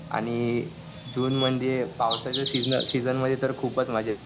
आणि जूनमध्ये पावसाच्या सिजनमध्ये तर खूपच मजा येते.